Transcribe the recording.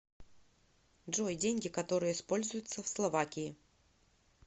джой деньги которые используются в словакии